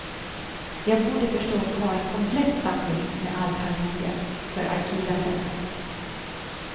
Jag borde förstås ha en komplett samling med allt han gjorde, för arkivändamål.